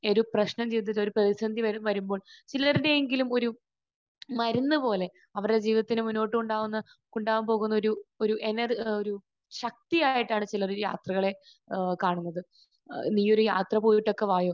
ഈ ഒരു പ്രശ്നം അല്ലെങ്കിൽ ഒരു പ്രതിസന്ധി വരുമ്പോൾ ചിലർക്കെങ്കിലും ഒരു മരുന്ന് പോലെ അവരുടെ ജീവിതത്തിൽ മുന്നോട്ട് കൊണ്ട് പോകുമ്പോൾ ഉണ്ടാകാൻ പോകുന്ന ഒരു എനർ ഒരു ശക്തിയായിട്ടാണ് ചിലർ യാത്രകളെ ഏഹ് കാണുന്നത്. നീയൊരു യാത്ര പോയിട്ടൊക്കെ വായോ.